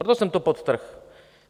Proto jsem to podtrhl.